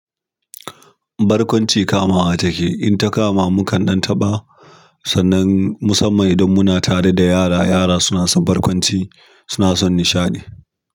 Barkwanci kamawa take, in takama mukan ɗan taɓa, sannan musamman idan muna tare da yara, yara suna son barkwanci suna son nishaɗi.